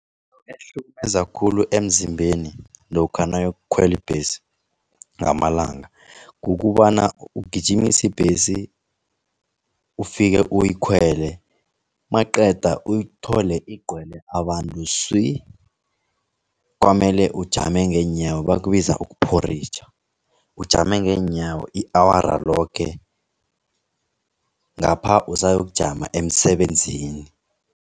Ehlukumeza khulu emzimbeni lokha nawuyokukhwela ibhesi ngamalanga kukobana ugijimise ibhesi, ufike uyikhwele maqeda uyithole igcwele abantu swi. Kwamele ujame ngeenyawo bakubiza ukuphoritjha, ujame ngeenyawo i-awara loke ngapha usayokujama emsebenzini.